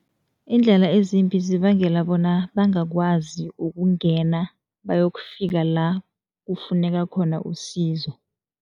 Iindlela ezimbi zibangela bona bangakwazi ukungena, bayokufika la kufuneka khona usizo.